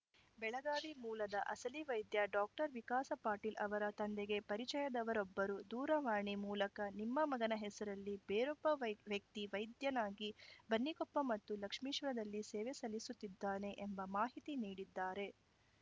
ಬೆಳಗಾವಿ ಮೂಲದ ಅಸಲಿ ವೈದ್ಯ ಡಾಕ್ಟರ್ ವಿಕಾಸ ಪಾಟೀಲ್‌ ಅವರ ತಂದೆಗೆ ಪರಿಚಯದವರೊಬ್ಬರು ದೂರವಾಣಿ ಮೂಲಕ ನಿಮ್ಮ ಮಗನ ಹೆಸರಲ್ಲಿ ಬೇರೊಬ್ಬ ವ್ಯಕ್ತಿ ವೈದ್ಯನಾಗಿ ಬನ್ನಿಕೊಪ್ಪ ಮತ್ತು ಲಕ್ಷ್ಮೇಶ್ವರದಲ್ಲಿ ಸೇವೆ ಸಲ್ಲಿಸುತ್ತಿದ್ದಾನೆ ಎಂಬ ಮಾಹಿತಿ ನೀಡಿದ್ದಾರೆ